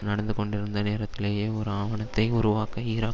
நடந்துகொண்டிருந்த நேரத்திலேயே ஒரு ஆவணத்தை உருவாக்க ஈராக்